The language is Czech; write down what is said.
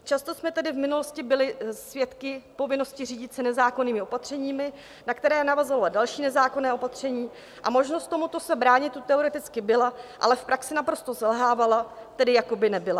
Často jsme tedy v minulosti byli svědky povinnosti řídit se nezákonnými opatřeními, na která navazovala další nezákonná opatření, a možnost tomuto se bránit tu teoreticky byla, ale v praxi naprosto selhávala, tedy jako by nebyla.